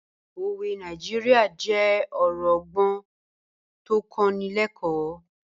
Òwe Nàìjíríà jẹ́ ọ̀rọ̀ ọgbọ́n tó ń kọ́ni lẹ́kọ̀ọ́